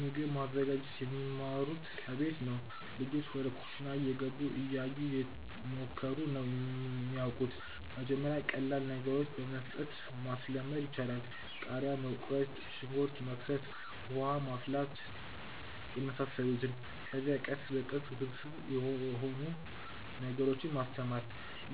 ምግብ ማዘጋጀት የሚማሩት ከቤት ነው። ልጆች ወደ ኩሽና እየገቡ፣ እያዩ፣ እየሞከሩ ነው የሚያወቁት። መጀመሪያ ቀላል ነገሮችን በመስጠት ማስለመድ ይቻላል። ቃሪያ መቁረጥ፣ ሽንኩርት መክተፍ፣ ውሃ ማፍላት የመሳሰሉትን። ከዚያ ቀስ በቀስ ውስብስብ ወደሆኑ ነገሮች ማስተማር።